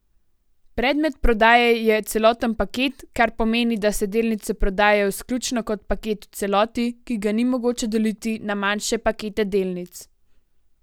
Predmet prodaje je celoten paket, kar pomeni, da se delnice prodajajo izključno kot paket v celoti, ki ga ni mogoče deliti na manjše pakete delnic.